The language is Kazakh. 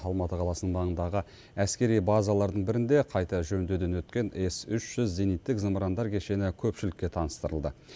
алматы қаласының маңындағы әскери базалардың бірінде қайта жөндеуден өткен с үш жүз зениттік зымырандар кешені көпшілікке таныстырылды